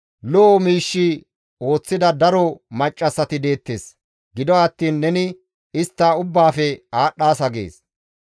«Lo7o miish ooththida daro maccassati deettes; gido attiin neni istta ubbaafe aadhdhaasa» gees.